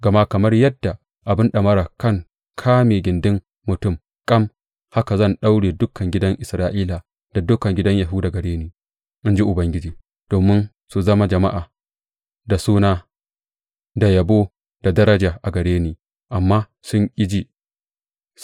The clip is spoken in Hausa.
Gama kamar yadda abin ɗamara kan kame gindin mutum tam, haka zan daure dukan gidan Isra’ila da dukan gidan Yahuda gare ni,’ in ji Ubangiji, domin su zama jama’a, da suna, da yabo, da daraja a gare ni, amma sun ƙi ji.’